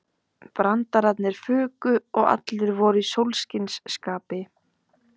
Brandararnir fuku og allir voru í sólskinsskapi.